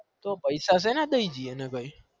તો પૈસા સેના થાય જીયને ભાઈ